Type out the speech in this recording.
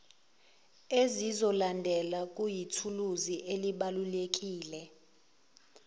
ezizolandela kuyithuluzi elibalulekile